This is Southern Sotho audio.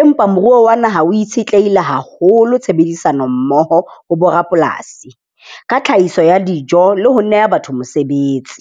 Empa moruo wa naha o itshetleile haholo tshebedisano mmoho ho bo rapolasi ka tlhahiso ya dijo le ho neha batho mosebetsi.